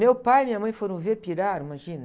Meu pai e minha mãe foram ver, piraram, imagina.